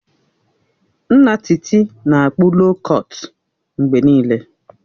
Nna Titi na-akpụ loo kọtụ mgbe niile